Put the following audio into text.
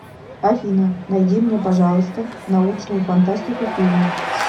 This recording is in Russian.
афина найди мне пожалуйста научную фантастику фильмы